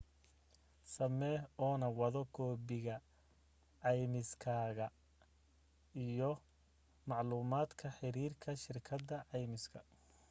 samee oo na wado koobiga ceymiskaada iyo maclumaadka xiriirka shirkadda caymiska